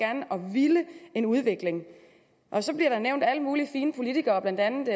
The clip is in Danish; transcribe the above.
ville en udvikling så bliver der nævnt alle mulige fine politikere blandt andet